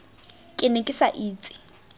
ke ne ke sa itse